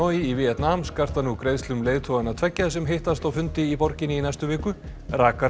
í Víetnam skarta nú greiðslum leiðtoganna tveggja sem hittast á fundi í borginni í næstu viku